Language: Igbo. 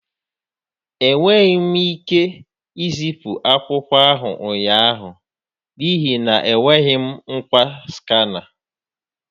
Enweghị m ike izipu akwụkwọ ahụ ụnyaahụ n'ihi na enweghị m ngwa Skana.